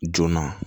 Joona